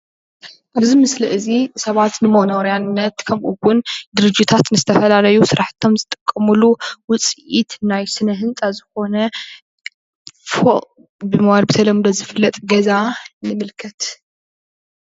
እዚ ምስሊ እዚ ሰባት ንመኖርያነት ከምእውን ድርጅታት ንዝተፈላለየ ስራሕቶም ዝጥቀምሉ ዉፂኢት ናይ ስነ ህንፃ ዝኮነ ፎቅ ብምባል ብተለምዶ ዝፍለጥ ገዛ ንምልከት።